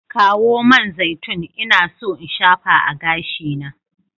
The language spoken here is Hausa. Kawo man zaitun, ina so in shafa a gashina.